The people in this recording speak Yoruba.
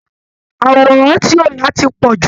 àwòràn tí o ti yà ti pọ̀ jù!